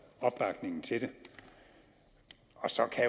opbakningen til det og så kan